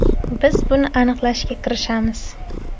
Biz buni aniqlashga kirishamiz.